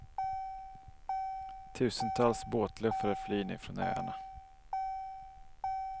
Tusentals båtluffare flyr nu från öarna.